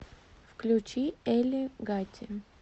включи эли гати